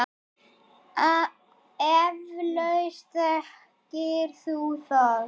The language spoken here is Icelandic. Eflaust þekkir þú það.